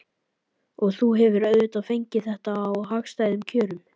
Og þú hefur auðvitað fengið þetta á hagstæðum kjörum?